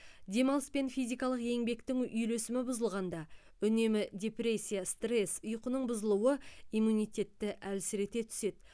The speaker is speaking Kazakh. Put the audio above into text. демалыс пен физикалық еңбектің үйлесімі бұзылғанда үнемі депрессия стресс ұйқының бұзылуы иммунитетті әлсірете түседі